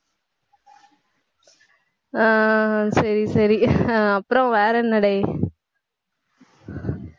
ஆஹ் சரி, சரி ஆஹ் அப்புறம் வேற என்னடே